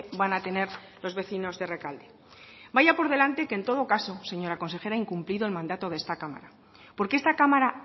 van a tener los vecinos de rekalde vaya por delante que en todo caso señora consejera ha incumplido el mandato de esta cámara porque esta cámara